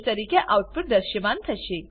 તરીકે આઉટપુટ દ્રશ્યમાન થશે